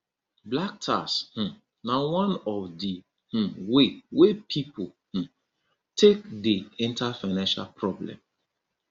black tax um na one of di um way wey pipo um take dey enter financial problem